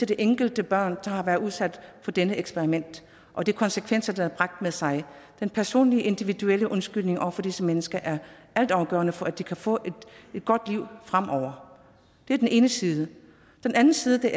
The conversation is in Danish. det enkelte barn der har været udsat for dette eksperiment og de konsekvenser det har bragt med sig den personlige individuelle undskyldning over for disse mennesker er altafgørende for at de kan få et godt liv fremover det er den ene side den anden side